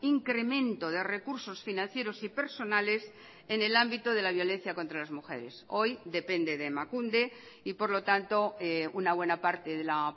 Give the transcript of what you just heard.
incremento de recursos financieros y personales en el ámbito de la violencia contra las mujeres hoy depende de emakunde y por lo tanto una buena parte de la